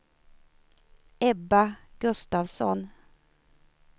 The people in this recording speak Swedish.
Ebba Gustavsson